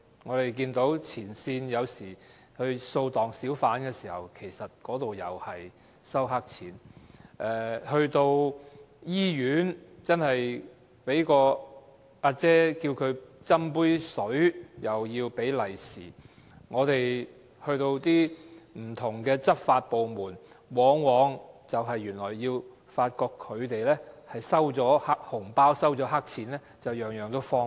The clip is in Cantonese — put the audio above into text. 我們看到前線警員掃蕩小販時會收黑錢；市民在醫院要求員工給予一杯水也要給紅包；我們到不同執法部門，往往發覺他們在收取黑錢和紅包後才會予以方便。